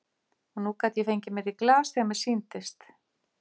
Og nú gat ég fengið mér í glas þegar mér sýndist.